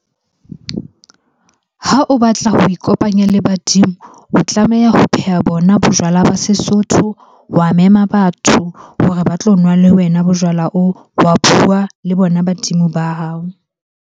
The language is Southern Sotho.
Ha o batla ho ikopanya le badimo, o tlameha ho pheha bona bojwala ba Sesotho, wa mema batho hore ba tlo nwa le wena bojwala oo. Wa bua le bona badimo ba hao.